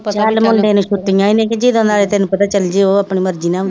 ਪਤਾ ਚੱਲ ਮੁਂਡੇ ਨੂੰ ਛੁੱਟਿਆ ਨੇ ਕੀਤੀ ਤੈਨੂੰ ਪਤਾ ਚੱਲਜੇ ਆਪਣੀ ਮਰਜੀ ਨਾਲ ਆਉਂਦੀ,